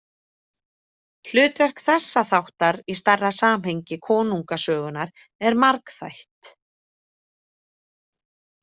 Hlutverk þessa þáttar í stærra samhengi konungasögunnar er margþætt.